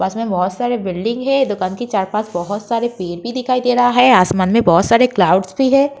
मे बोहोत सारे बिल्डिंग है। दुकान के चार बोहोत सारे पेड़ भी दिखाई दे रहा है। आसमान में बोहोत सारा क्लाउडस भी है।